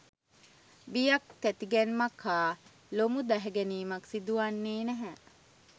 බියක් තැති ගැනීමක් හා ලොමු දැහැගැනීමක් සිදුවන්නේ නැහැ.